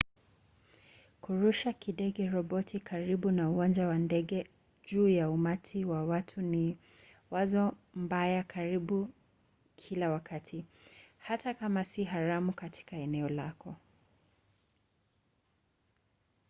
kurusha kidege-roboti karibu na uwanja wa ndege juu ya umati wa watu ni wazo mbaya karibu kila wakati hata kama si haramu katika eneo lako